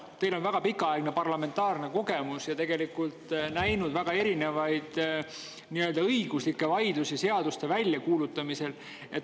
Teil on pikaaegne parlamentaarne kogemus ja näinud väga erinevaid nii-öelda õiguslikke vaidlusi seaduste väljakuulutamisel.